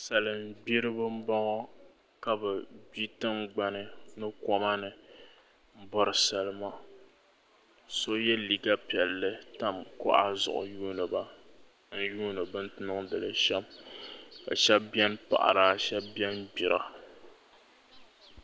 Salima gbiriba n bɔŋɔ ka bi gbi tiŋgbani ni koma ni n bɔri salima so yɛ liiga piɛlli tam kuɣa zuɣu n yuuni ba n yuuni bini niŋdi li shɛm ka shɛba bɛni n paɣiba shɛba bɛni gbira